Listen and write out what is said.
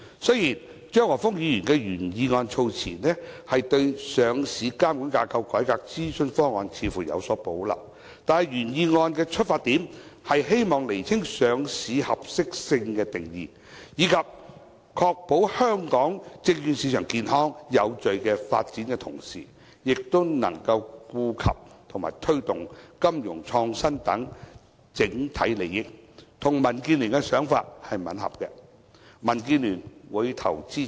雖然張華峰議員的原議案措辭，似乎對上市監管架構改革諮詢方案有所保留，但原議案的出發點，是希望釐清上市合適性的定義，以確保香港證券市場健康有序發展的同時，能夠顧及和推動金融創新等整體利益，與民建聯的想法吻合，民建聯會表決支持。